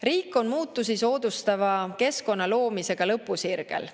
Riik on muutusi soodustava keskkonna loomisega lõpusirgel.